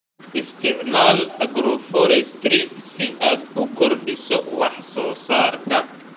Isticmaal agroforestry si aad u kordhiso wax soo saarka.